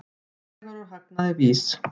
Dregur úr hagnaði VÍS